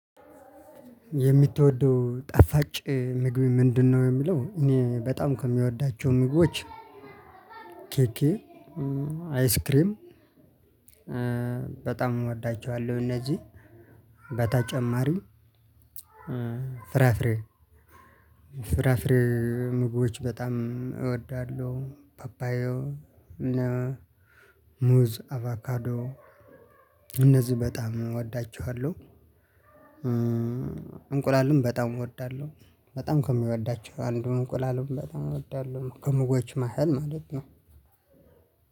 የሚትወደው ጣፋጭ ምግብ ምንድነው? የሚለው እኔ በጣም ከሚወዳቸው ምግቦች ኬኬ አይስክሬም በጣም እወዳቸዋለው። እነዚህን በተጨማሪም ፍራፍሬ ፍራፍሪ ምግቦች በጣም እወዳለሁ። ፓፓያ ሙዝ አበካዶ እነዚህ በጣም እወዳቸዋለሁ። እንቁላልም በጣም እወዳለሁ በጣም ከሚወዳቸው አንዱን እንቁላልም በጣም እወዳለሁ ከምግቦች መሃል ማለት ነው።